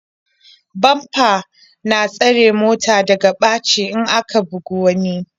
Bamba na tsare mota daga ɓaci in aka bugi wani.